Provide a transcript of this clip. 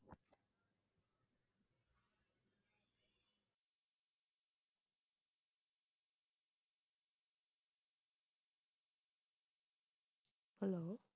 hello